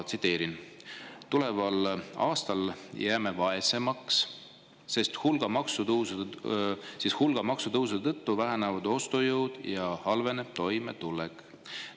Tsiteerin: "Tuleval aastal jääme vaesemaks, sest hulga maksutõusude tõttu väheneb ostujõud ja halveneb toimetulek.